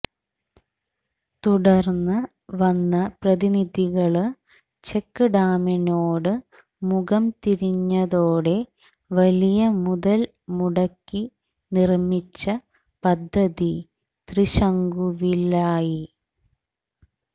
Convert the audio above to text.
തുടര്ന്ന് വന്ന ജനപ്രതിനിധികള് ചെക്ക് ഡാമിനോട് മുഖം തിരിഞ്ഞതോടെ വലിയ മുതല് മുടക്കി നിര്മിച്ച പദ്ധതി ത്രിശങ്കുവിലായി